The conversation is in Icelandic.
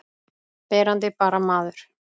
Verandi bara maður.